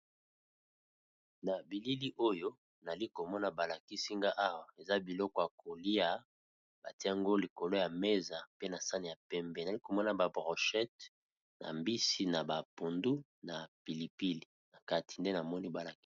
Na bilili oyo nali komona ba lakisi nga Awa eza biloko ya kolia, batie ngo likolo ya mesa pe na sani ya pembe. Nali komona ba brochete, na mbisi, na ba pondu, na pili pili na kati nde namoni ba lakisi.